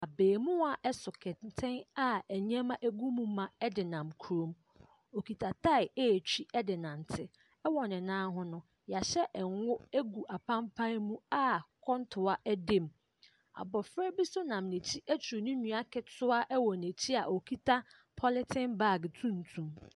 Abɛɛmoaa so kɛntɛn a nneɛma wɔ mu ma de nam kurom. Ↄkita tyre retwi de renante. ℇwɔ ne nan ho no, yɛahyɛ ngo agu apampan mu a kɔntoa da mu. Abɔfra bi nso nam n’akyi aturu ne nua ketewa wɔ n’akyi a ɔkita polythen baage tuntum.